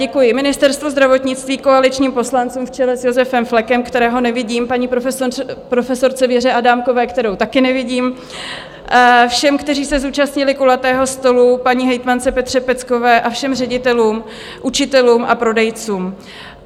Děkuji Ministerstvu zdravotnictví, koaličním poslancům v čele s Josefem Flekem, kterého nevidím, paní profesorce Věře Adámkové, kterou taky nevidím, všem, kteří se zúčastnili kulatého stolu, paní hejtmance Petře Peckové a všem ředitelům, učitelům a prodejcům.